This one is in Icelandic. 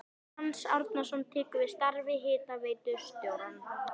Franz Árnason tekur við starfi hitaveitustjóra á